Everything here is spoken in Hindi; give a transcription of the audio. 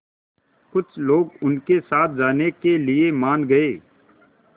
कुछ लोग उनके साथ जाने के लिए मान गए